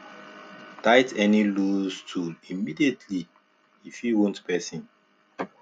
tight any loose tool immediately e fit wound person